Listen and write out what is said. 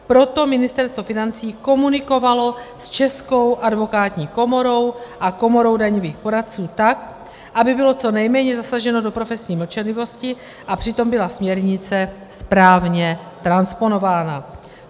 Proto Ministerstvo financí komunikovalo s Českou advokátní komorou a Komorou daňových poradců, tak aby bylo co nejméně zasaženo do profesní mlčenlivosti a přitom byla směrnice správně transponována.